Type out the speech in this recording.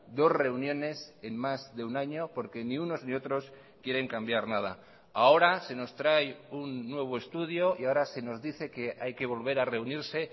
dos reuniones en más de un año porque ni unos ni otros quieren cambiar nada ahora se nos trae un nuevo estudio y ahora se nos dice que hay que volver a reunirse